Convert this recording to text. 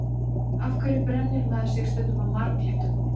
Af hverju brennir maður sig stundum á marglyttum?